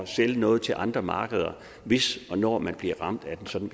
sælge noget til andre markeder hvis og når man bliver ramt af sådan